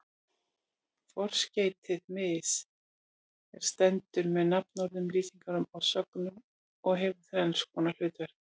Forskeytið mis- er stendur með nafnorðum, lýsingarorðum og sögnum og hefur þrenns konar hlutverk.